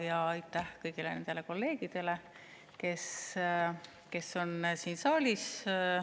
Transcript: Ja aitäh kõigile kolleegidele, kes on siin saalis!